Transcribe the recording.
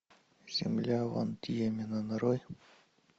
земля ван дьемена нарой